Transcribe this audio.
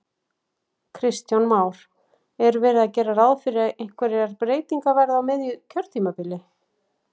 Kristján Már: Er verið að gera ráð fyrir að einhverjar breytingar verði á miðju kjörtímabili?